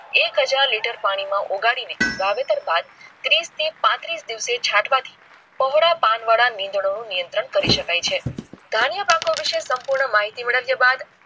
એક હજાર પાણી માં ઓગાળીને વાવેતર બાદ તીસ થી પાટરિસ દિવસ છાટવા થી કાવડ પાન વાળા નિદાયો ના નિયંત્રણ કરી સકાય છે ધાન્ય પાકો વિશે સંપૂર્ણ માહિતી મેલ્વિયા બાદ